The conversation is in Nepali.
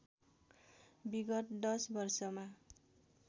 विगत दश वर्षमा